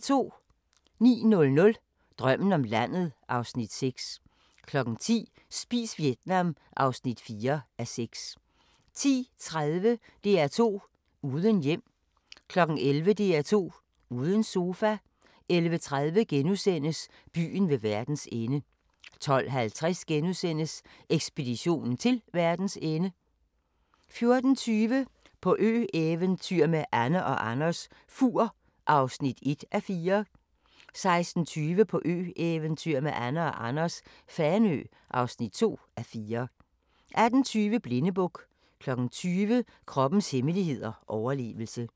09:00: Drømmen om landet (Afs. 6) 10:00: Spis Vietnam (4:6) 10:30: DR2 uden hjem 11:00: DR2 uden sofa 11:30: Byen ved verdens ende * 12:50: Ekspeditionen til verdens ende * 14:20: På ø-eventyr med Anne & Anders - Fur (1:4) 16:20: På ø-eventyr med Anne & Anders - Fanø (2:4) 18:20: Blindebuk 20:00: Kroppens hemmeligheder: Overlevelse